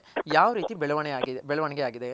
ಯಾವ್ ರೀತಿ ಬೆಳವಣಿಗೆ ಆಗಿದೆ